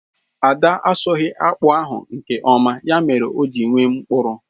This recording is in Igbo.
Ada asụghi akpu ahụ nke oma, ya mere o ji nwee mkpụrụ